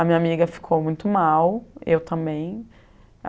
A minha amiga ficou muito mal, eu também.